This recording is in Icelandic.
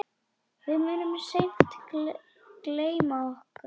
Við munum seint gleyma honum.